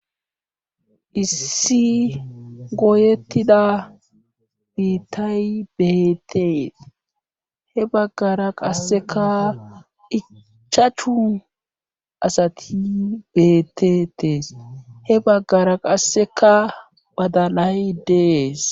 issi goyettida biittay beettees he baggara qasseka ichachu asati bettetees he baggara qasseka badalay dees